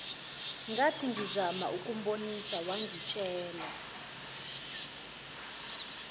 ngathingizama ukumbonisa wangitshela